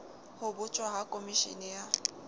ho botjwa ha komeshene ya